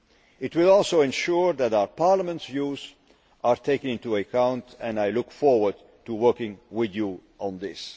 It will also ensure that our Parliament's views are taken into account, and I look forward to working with you on this.